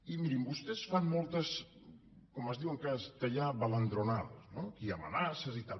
i mirin vostès fan moltes com es diu en castellà baladronadas no aquí hi ha amenaces i tal